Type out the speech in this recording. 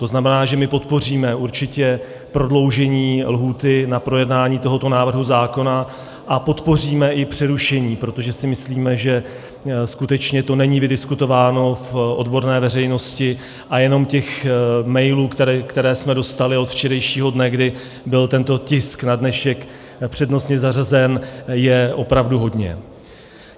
To znamená, že my podpoříme určitě prodloužení lhůty na projednání tohoto návrhu zákona a podpoříme i přerušení, protože si myslíme, že skutečně to není vydiskutováno v odborné veřejnosti, a jenom těch mailů, které jsme dostali od včerejšího dne, kdy byl tento tisk na dnešek přednostně zařazen, je opravdu hodně.